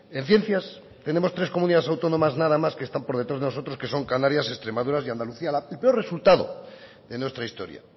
en ciencias tenemos tres comunidades autónomas nada más que están por detrás de nosotros que son canarias extremadura y andalucía el peor resultado de nuestra historia